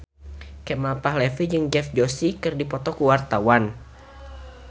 Kemal Palevi jeung Dev Joshi keur dipoto ku wartawan